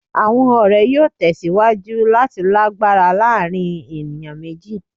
Awọn ọrẹ yoo tẹsiwaju lati lagbara laarin eniyan meji